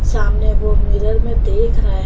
सामने वो मिरर में देख रहा है।